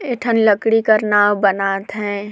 एठन लकड़ी कर नाव बनाथे ।